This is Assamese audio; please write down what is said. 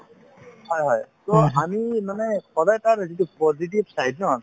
হয় হয় to আমি মানে সদায় তাৰ যিটো positive side ন